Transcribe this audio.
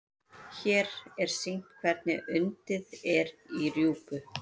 hér er sýnt hvernig undið er í rjúpu